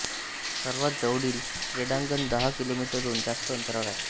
सर्वात जवळील क्रीडांगण दहा किलोमीटरहून जास्त अंतरावर आहे